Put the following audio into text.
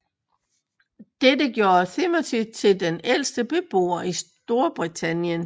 Dette gjorde Timothy til den ældste beboer i Storbritannien